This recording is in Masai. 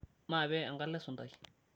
maape enkalo esuntai